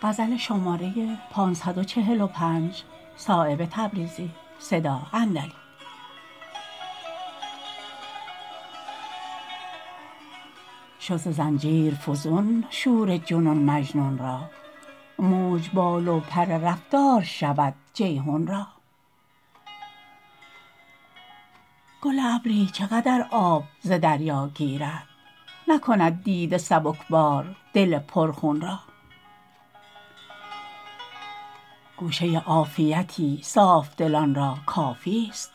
شد ز زنجیر فزون شور جنون مجنون را موج بال و پر رفتار شود جیحون را گل ابری چه قدر آب ز دریا گیرد نکند دیده سبکبار دل پر خون را گوشه عافیتی صافدلان را کافی است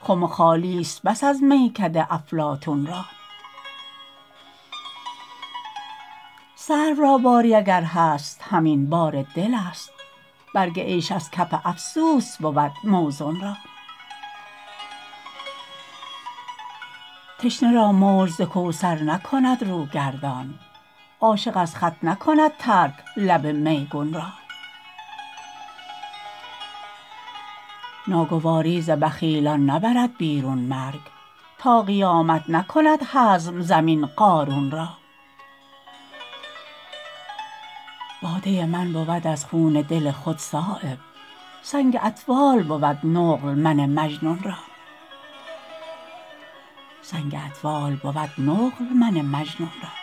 خم خالی است بس از میکده افلاطون را سرو را باری اگر هست همین بار دل است برگ عیش از کف افسوس بود موزون را تشنه را موج ز کوثر نکند رو گردان عاشق از خط نکند ترک لب میگون را ناگواری ز بخیلان نبرد بیرون مرگ تا قیامت نکند هضم زمین قارون را باده من بود از خون دل خود صایب سنگ اطفال بود نقل من مجنون را